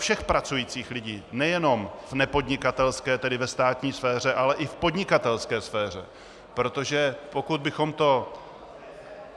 Všech pracujících lidí, nejenom v nepodnikatelské, tedy v státní sféře, ale i v podnikatelské sféře, protože pokud bychom to...